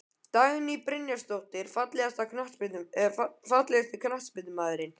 Dagný Brynjarsdóttir Fallegasti knattspyrnumaðurinn?